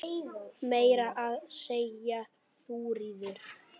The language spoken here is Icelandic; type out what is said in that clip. Meira að segja Þuríður